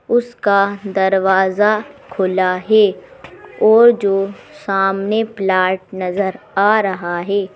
उसका दरवाजा खुला है और जो सामने प्लाट नजर आ रहा है ।